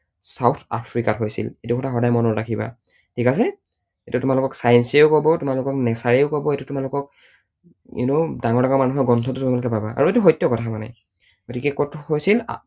South আফ্ৰিকাত হৈছিল। এইটো কথা সদায় মনত ৰাখিবা। ঠিক আছে? এইটো তোমালোকক science য়েও কব তোমালোকক nature য়েও কব, এইটো তোমালোকক you know ডাঙৰ ডাঙৰ মানুহৰ গ্ৰন্থতো তোমালোকে পাবা, আৰু এইটো সত্য কথা মানে, গতিকে কত হৈছিল? south আফ্ৰিকাত হৈছিল।